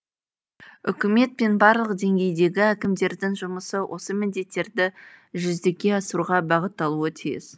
үкімет пен барлық деңгейдегі әкімдердің жұмысы осы міндеттерді жүзеге асыруға бағытталуы тиіс